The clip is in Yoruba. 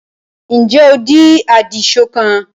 ǹjẹ́ o di àdìsọ́kàn?